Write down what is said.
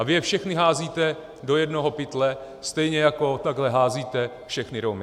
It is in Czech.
A vy je všechny házíte do jednoho pytle, stejně jako takhle házíte všechny Romy.